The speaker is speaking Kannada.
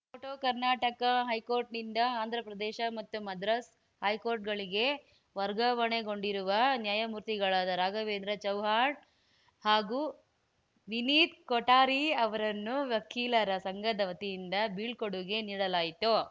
ಫೋಟೋ ಕರ್ನಾಟಕ ಹೈಕೋರ್ಟ್‌ನಿಂದ ಆಂಧ್ರ ಪ್ರದೇಶ ಮತ್ತು ಮದ್ರಾಸ್‌ ಹೈಕೋರ್ಟ್‌ಗಳಿಗೆ ವರ್ಗಾವಣೆಗೊಂಡಿರುವ ನ್ಯಾಯಮೂರ್ತಿಗಳಾದ ರಾಘವೇಂದ್ರ ಚೌಹಾಣ್‌ ಹಾಗೂ ವಿನೀತ್‌ ಕೊಠಾರಿ ಅವರನ್ನು ವಕೀಲರ ಸಂಘದ ವತಿಯಿಂದ ಬೀಳ್ಕೊಡುಗೆ ನೀಡಲಾಯಿತು